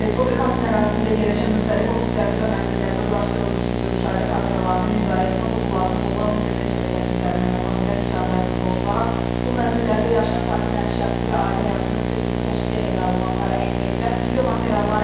Respublikanın ərazisində yerləşən müxtəlif ofislərdə və mənzillərdə quraşdırılmış videomüşahidə kameralarının idarəetmə qurğularına qlobal internet şəbəkəsi üzərindən məsafədən icazəsiz qoşularaq bu mənzillərdə yaşayan sakinlərin şəxsi və ailə həyatının sirrini təşkil edən məlumatları